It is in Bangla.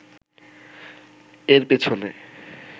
এর পেছনে